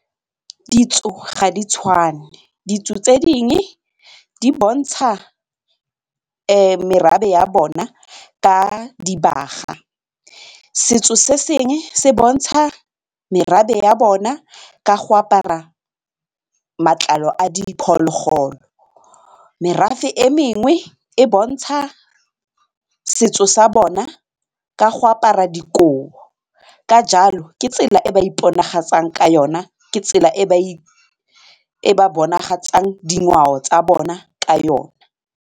Ditso ga di tshwane, ditso tse dingwe di bontsha merafe ya bona ka dibaga, setso se sengwe se bontsha merafe ya bona ka go apara matlalo a diphologolo, merafe e mengwe e bontsha setso sa bona ka go apara dikobo ka jalo ke tsela e ba iponagatsang ka yona ke tsela e e ba bonagalang dingwao tsa bona ka yona.